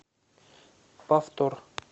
повтор